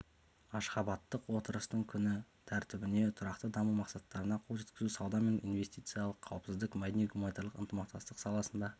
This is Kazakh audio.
ашғабаттық отырыстың күн тәртібіне тұрақты даму мақсаттарына қол жеткізу сауда мен инвестициялар қауіпсіздік мәдени-гуманитарлық ынтымақтастық саласында